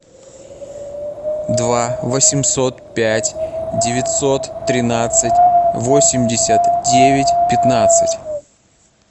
два восемьсот пять девятьсот тринадцать восемьдесят девять пятнадцать